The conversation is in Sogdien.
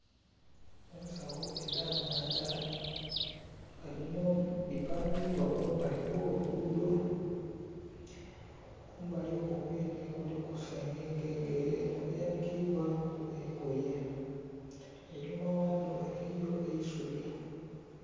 Ensawo edhamanda nga dhino dhipangibwa kumbali kw'olugudo kumbali okwo kwenhe kuliku sengenge era eno eyanikibwaku engoye einhuma ghadho eliyo eisubi.